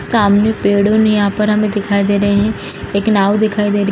सामने यहाँ पर हमें दिखाई दे रहे हैं एक नाव दिखाई दे र --